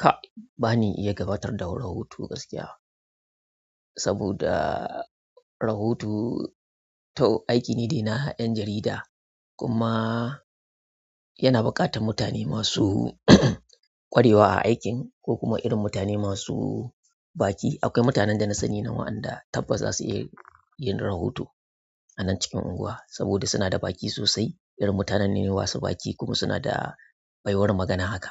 Ka, ba ni iya gabatar da rahoto gaskiya. Saboda rahoto tau aiki ne na ƴan jarida, kuma yana buƙatar mutane masu ƙwarewa a aikin ko kuma irin mutane masu baki. Akwai mutanen da nasani na wa'i da tabbas za su iya yin rahoto anan cikin unguwa sabida sunada baki irin mutanen ne masu baki kuma suna da baiwar magana haka.